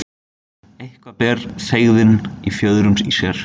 Eitthvað ber feigðina í fjöðrum sér